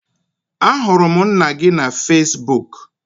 Ahụrụ m nna gị na Fesbuk